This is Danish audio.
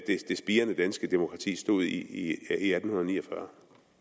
spirende danske demokrati stod i i atten ni og fyrre